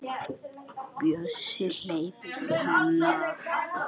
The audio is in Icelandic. Bjössi hleypur til hennar.